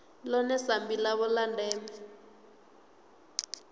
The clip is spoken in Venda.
ḽone sambi ḽavho ḽa ndeme